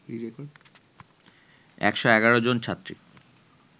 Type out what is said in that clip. ১১১ জন ছাত্রী